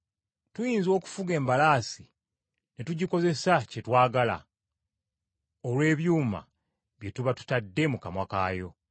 Tuyinza okufuga embalaasi ne tugikozesa kye twagala olw’ebyuma bye tuba tutadde mu kamwa kaayo.